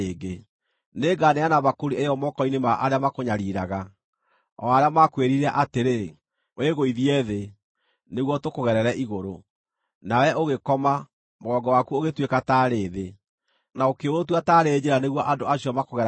Nĩnganeana mbakũri ĩyo moko-inĩ ma arĩa makũnyariiraga, o arĩa maakwĩrire atĩrĩ, ‘Wĩgũithie thĩ, nĩguo tũkũgerere igũrũ.’ Nawe ũgĩkoma, mũgongo waku ũgĩtuĩka taarĩ thĩ, na ũkĩũtua taarĩ njĩra nĩguo andũ acio makũgeragĩre igũrũ.”